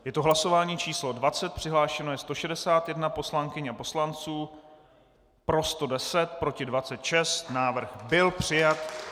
Je to hlasování číslo 20, přihlášeno je 161 poslankyň a poslanců, pro 110, proti 26, návrh byl přijat.